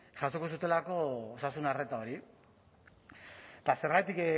jasoko zutelako osasun arreta hori eta zergatik